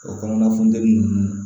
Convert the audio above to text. O kɔnɔna funteni ninnu